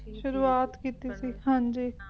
ਸ਼ੁਰੂਆਤ ਕੀਤੀ ਸੀ ਹਾਂ ਜੀ